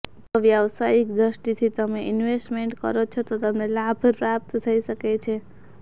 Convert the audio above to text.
જો વ્યવસાયિક દ્રષ્ટિથી તમે ઈન્વેસ્ટમેંટ કરો છો તો તમને લાભ પ્રાપ્ત થઈ શકે છે